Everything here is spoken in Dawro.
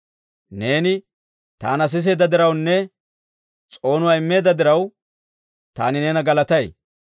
Neeni taana siseedda dirawunne s'oonuwaa immeedda diraw, taani neena galatay.